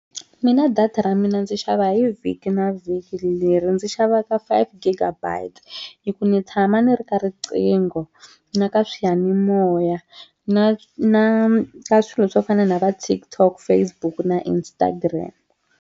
Mina data ra mina ndzi xava hi vhiki na vhiki leri ndzi xavaka five giga bites hi ku ni tshama ni ri ka riqingho na ka swiyanimoya na na na swilo swo fana na va TikTok Facebook na Instagram.